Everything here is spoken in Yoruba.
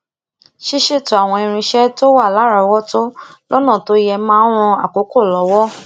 ṣíṣètò àwọn irinṣé tó wà láròówótó lónà tó ye máa n ran àkókò lowo